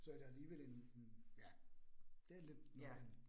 Så er der alligevel en en ja. Det lidt noget andet